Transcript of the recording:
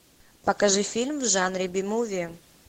покажи фильм в жанре би муви